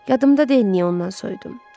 Yadımda deyil niyə ondan soyudum.